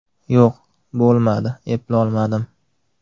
Yo‘q, bo‘lmadi, eplolmadim.